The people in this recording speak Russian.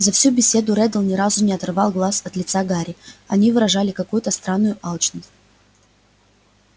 за всю беседу реддл ни разу не оторвал глаз от лица гарри они выражали какую-то странную алчность